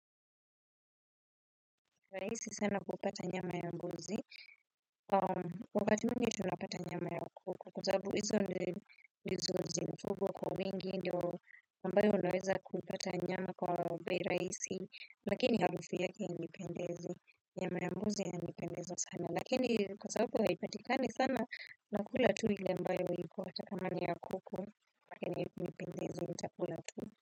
Rahisi sana kupata nyama ya mbuzi, though wakati mwingi tunapata nyama ya kuku. Kwa sababu hizo ndizo zimefugwa kwa wingi, ndio ambayo naweza kupata nyama kwa bei rahisi. Lakini harufu fia haipendezi, nyama mbuzi yanipendeza sana, lakini kwa sababu haipatikani sana. Nakula tu ile ambayo iko hata kama ni ya kuku, nipendezi nitakula tu.